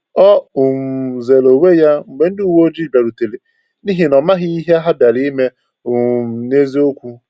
O um zeere onwe ya mgbe ndị uwe ojii bịarutere, n’ihi na ọ maghị ihe ha bịara ime um n’eziokwu.